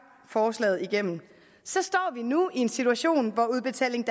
forslaget igennem så står vi nu i en situation hvor udbetaling